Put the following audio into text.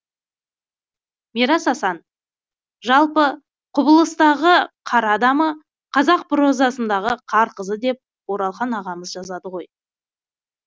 мирас асан жалпы құбылыстағы қар адамы қазақ прозасында қар қызы деп оралхан ағамыз жазады ғой